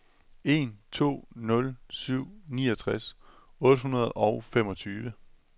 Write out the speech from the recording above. en to nul syv niogtres otte hundrede og femogtyve